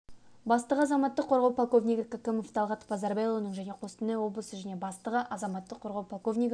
бастығы азаматтық қорғау полковнигі кәкімов талғат базарбайұлының және қостанай облысы және бастығы азаматтық қорғау полковнигі